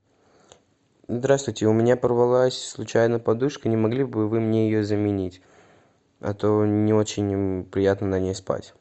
здравствуйте у меня порвалась случайно подушка не могли бы вы мне ее заменить а то не очень приятно на ней спать